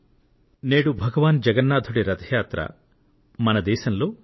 దేశంలోని అనేక ప్రాంతాలలో జగన్నాథ రథ యాత్ర ను ఎంతో పవిత్ర భావంతో జరుపుతున్నారు